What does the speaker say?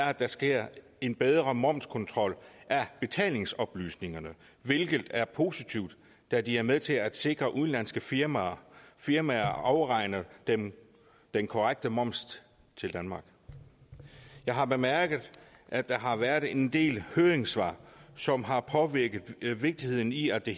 at der sker en bedre momskontrol af betalingsoplysningerne hvilket er positivt da de er med til at sikre at udenlandske firmaer firmaer afregner den den korrekte moms til danmark jeg har bemærket at der har været en del høringssvar som har påpeget vigtigheden i at det